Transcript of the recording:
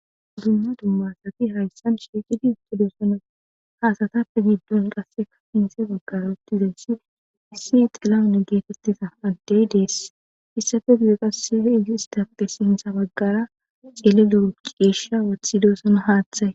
Dumma duma asati haysan shiiqidi uttidosona . Ha asatappe giduwan qasse xade bagara utidayssi issi xilahun getetida adde des. Hessappe guye qassi ettappe sinththa bagara cililo ciishsha wotidosona haaththay.